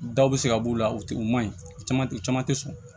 Daw bɛ se ka b'u la u tɛ u ma ɲi u caman tɛ caman tɛ sɔn